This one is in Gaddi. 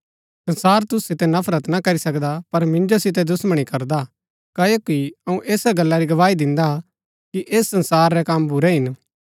संसार तुसु सितै नफरत ना करी सकदा पर मिन्जो सितै दुश्‍मणी करदा हा क्ओकि अऊँ ऐसा गल्ला री गवाही दिन्दा कि ऐस संसार रै कम बुरै हिन